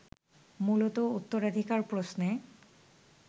মূলত উত্তরাধিকার প্রশ্নে